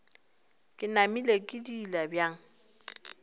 ke namile ke diila bjang